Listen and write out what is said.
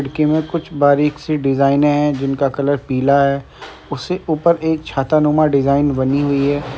खिड़की में कुछ बारीक़ सी डिज़ाइने हैं जिनका कलर पीला है। उससे ऊपर एक छातानुमा डिज़ाइन बनी हुई है।